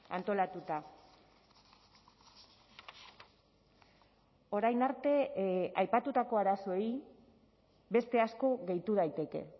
antolatuta orain arte aipatutako arazoei beste asko gehitu daiteke